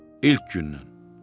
İlk gündən.